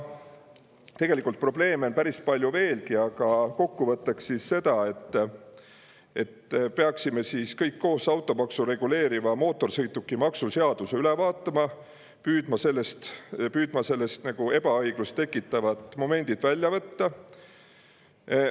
Tegelikult on probleeme päris palju veel, aga kokkuvõtteks seda, et peaksime kõik koos automaksu reguleeriva mootorsõidukimaksu seaduse üle vaatama ja püüdma sellest ebaõiglust tekitavad momendid välja võtta.